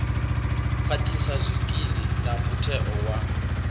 khwaṱhisa zwikili na mutheo wa